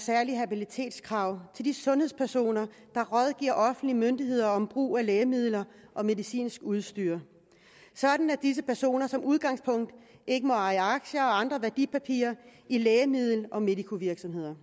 særlige habilitetskrav til de sundhedspersoner der rådgiver offentlige myndigheder om brug af lægemidler og medicinsk udstyr sådan at disse personer som udgangspunkt ikke må eje aktier og andre værdipapirer i lægemiddel og medicovirksomheder